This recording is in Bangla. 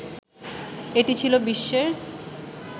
এটি ছিল বিশ্বের